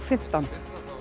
fimmtán